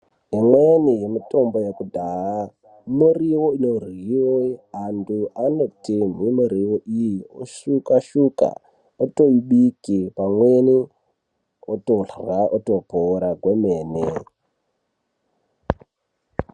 Imweni yemitombo yekudhaya miriwo inoryiwe. Anhu anotemhe miriwo iyo osuka-suka, otoibike pamweni ,otorya otopora kwemene.